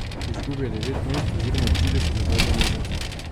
Izgubil je devet mest oziroma trideset v zadnjem mesecu.